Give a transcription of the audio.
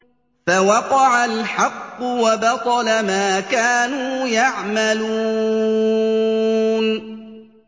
فَوَقَعَ الْحَقُّ وَبَطَلَ مَا كَانُوا يَعْمَلُونَ